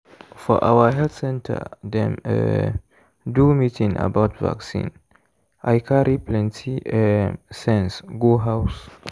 for our health center dem um do meeting about vaccine i carry plenty um sense go house.